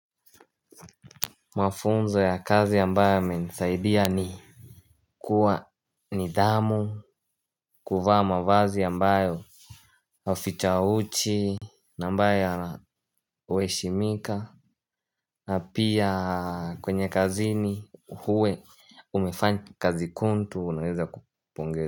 Mafunzo ya kazi ambayo yamenisaidia ni kuwa nidhamu, kuvaa mavazi ambayo aficha uchi. Na ambayo yana heshimika. Na pia kwenye kazini huwe umefanya kazi kuntu unaweza kupongeza.